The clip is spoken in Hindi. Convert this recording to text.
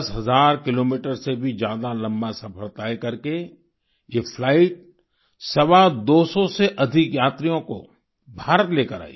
दस हजार किलोमीटर से भी ज्यादा लंबा सफ़र तय करके ये फ्लाइट सवा दोसौ से अधिक यात्रियों को भारत लेकर आई